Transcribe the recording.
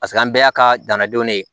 Paseke an bɛɛ y'a ka dannadenw de ye